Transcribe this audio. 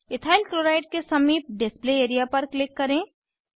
ethyl chloride के समीप display area पर क्लिक करें